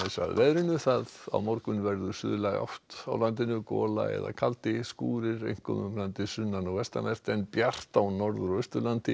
veðri á morgun verður átt á landinu gola eða kaldi skúrir einkum um landið sunnan og vestanvert en bjart á Norður og Austurlandi